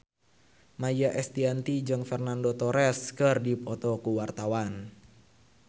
Maia Estianty jeung Fernando Torres keur dipoto ku wartawan